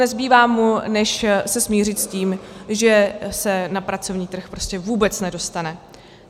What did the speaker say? Nezbývá mu, než se smířit s tím, že se na pracovní trh prostě vůbec nedostane.